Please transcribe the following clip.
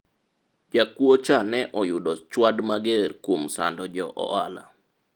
jakuwo cha ne oyudo chwad mager kuom sando jo ohala